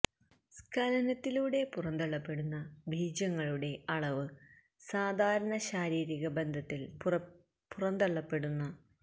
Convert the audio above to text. സ്ഖലനത്തിലൂടെ പുറന്തള്ളപ്പെടുന്ന ബീജങ്ങളുടെ അളവ് സാധാരണ ശാരീരിക ബന്ധത്തിൽ പുറന്തള്ളപ്പെടുന്ന ബീജങ്ങളുടെ അളവില് നിന്നും കുറവായിരിയ്ക്കും സ്വയംഭോഗം ചെയ്യുമ്പോൾ